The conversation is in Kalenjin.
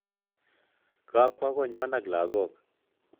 Kakwo konywan ak lakok